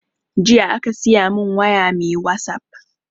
Jiya aka siya mun waya mai wasap